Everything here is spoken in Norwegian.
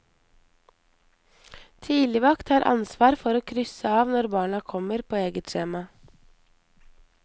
Tidligvakt har ansvar for å krysse av når barna kommer på eget skjema.